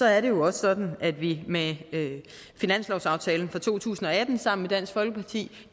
er jo også sådan at vi med finanslovsaftalen for to tusind og atten sammen med dansk folkeparti